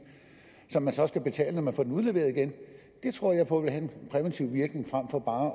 som man så skal betale når man får den udleveret igen det tror jeg på vil have en præventiv virkning frem for bare